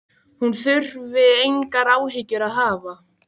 Hún þurfi engar áhyggjur að hafa.